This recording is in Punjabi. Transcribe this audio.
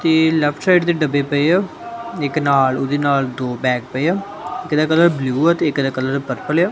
ਤੇ ਲੈਫਟ ਸਾਈਡ ਤੇ ਡੱਬੇ ਪਏ ਆ ਇੱਕ ਨਾਲ ਉਹਦੇ ਨਾਲ ਦੋ ਬੈਗ ਪਏ ਆ ਤੇ ਇੱਕ ਦਾ ਕਲਰ ਬਲੂ ਆ ਤੇ ਇੱਕ ਦਾ ਕਲਰ ਪਰਪਲ ਆ।